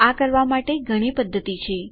આ કરવાં માટે ઘણી પધ્ધતિ છે